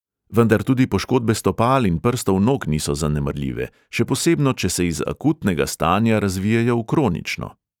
Vendar tudi poškodbe stopal in prstov nog niso zanemarljive, še posebno, če se iz akutnega stanja razvijejo v kronično.